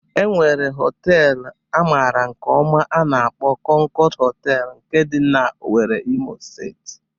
E nwere họteelụ a mara nke ọma a na-akpo "Konkod Hotel" nke dị n'Owerri, Imo Steeti.